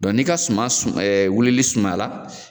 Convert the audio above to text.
n'i ka suma wilili sumaya la